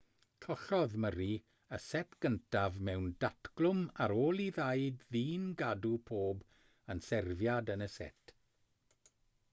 collodd murray y set gyntaf mewn datglwm ar ôl i'r ddau ddyn gadw pob un serfiad yn y set